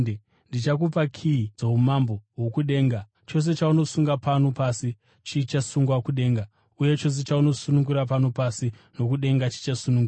Ndichakupa kiyi dzoumambo hwokudenga; chose chaunosunga pano pasi chichasungwa kudenga, uye chose chaunosunungura pano pasi nokudenga chichasunungurwa.”